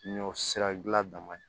Ɲɔ sira gilan man ɲi